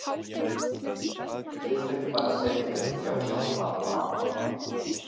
Viltu ekki bara setjast hjá pabba og afa?